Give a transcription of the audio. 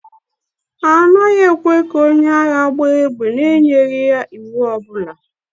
A naghị ekwe ka onye agha gbaa égbè n'enyeghị ya iwu ọ bụla